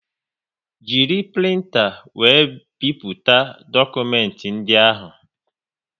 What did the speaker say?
Jiri printa wéré bipụta dokumenti ndị ahụ